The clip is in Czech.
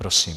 Prosím.